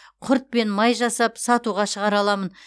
құрт пен май жасап сатуға шығара аламын